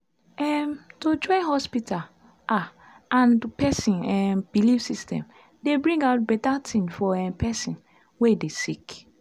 em- to join hospita ah and pesin um belief system dey bring out beta tin for um pesin wey dey sick